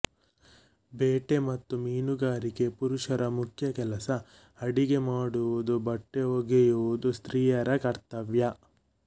ಬೇಟೆ ಮತ್ತು ಮೀನುಗಾರಿಕೆ ಪುರುಷರ ಮುಖ್ಯ ಕೆಲಸ ಅಡಿಗೆ ಮಾಡುವುದೂ ಬಟ್ಟೆ ಹೊಲಿಯುವುದೂ ಸ್ತ್ರೀಯರ ಕರ್ತವ್ಯ